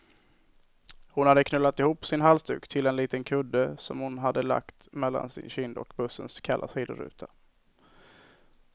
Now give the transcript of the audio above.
Hon hade knölat ihop sin halsduk till en liten kudde, som hon hade lagt mellan sin kind och bussens kalla sidoruta.